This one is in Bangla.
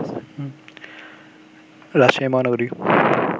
রাজশাহী মহানগরী